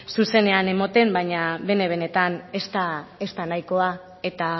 zuzenean emoten baina bene benetan ez da nahikoa eta